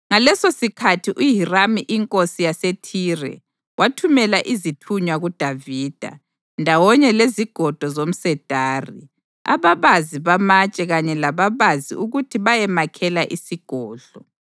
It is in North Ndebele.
Ngalesosikhathi uHiramu inkosi yaseThire wathumela izithunywa kuDavida, ndawonye lezigodo zomsedari, ababazi bamatshe kanye lababazi ukuthi bayemakhela isigodlo.